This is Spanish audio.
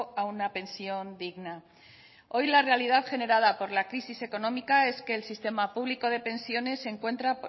a una pensión digna hoy la realidad generada por la crisis económica es que el sistema público de pensiones se encuentra